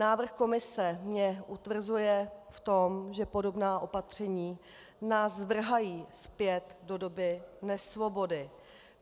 Návrh Komise mě utvrzuje v tom, že podobná opatření nás vrhají zpět do doby nesvobody.